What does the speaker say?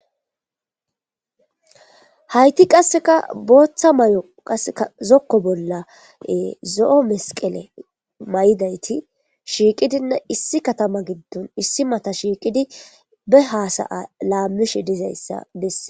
hayti qasseka booththa may7o qaseka zokko bolla zo7o mesqele may7dayti shiiqidinna issi katama giddon issi mata shiiqidi be haasaya laammishe dizayssa besse